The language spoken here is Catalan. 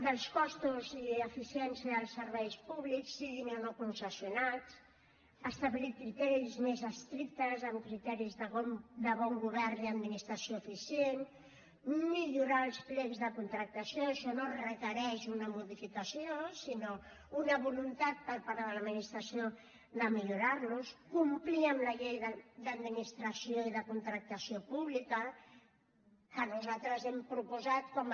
dels costos i eficiència dels serveis públics siguin o no concessionats establir criteris més estrictes amb criteris de bon govern i administració eficient millorar els plecs de contractació això no requereix una modificació sinó una voluntat per part de l’administració de millorar los complir amb la llei d’administració i de contractació pública que nosaltres hem proposat com a